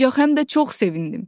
Ancaq həm də çox sevindim.